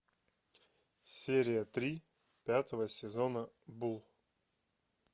серия три пятого сезона булл